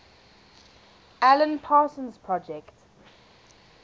alan parsons project